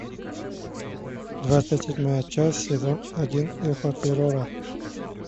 двадцать седьмая часть сезон один эхо террора